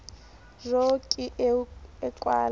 jo ke eo a kwala